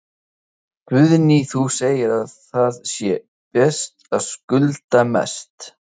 Guðný: Þú segir að það sé best að skulda mest?